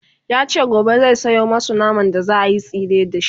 yace gobe zai Sayo masu naman da zaayi tsire da shi